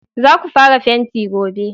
Za ku fara fenti gobe!